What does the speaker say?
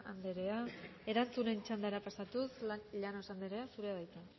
andrea erantzunen txandara pasatuz llanos andrea zurea da hitza